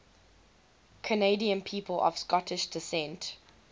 canadian people of scottish descent